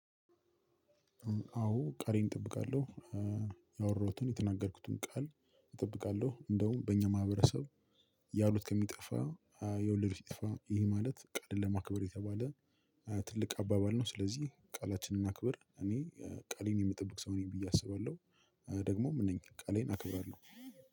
አዎ ቃሌን እጠብቃለሁ። ያወራሁትን የተናገርኩትን ቃል እጠብቃለሁ እንደውም በእኛ ማህበረሰብ። ያሉት ከሚጠፋ የወለዱ ሲጠፋ ይሄ ማለት ቃልን ለማክበር የተባለ። ትልቅ አባባል ነው ስለዚህ ቃላችንን እናክብር። እኔ ቃሌን የምጠብቅ ሰው ነኝ ብዬ አስባለሁ። ደግሞም እነኚህ ቃሌን አከብራለሁ።